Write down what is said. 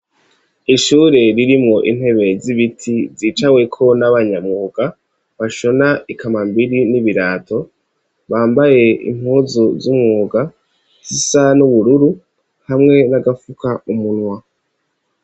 Ishure ririmo intebe z'ibiti zicaweko n'abanyamwuga ,bashona ikamambiri n'ibirato, bambaye impuzu z'umwuga zisa n'ubururu, hamwe n'agafuka umunwa.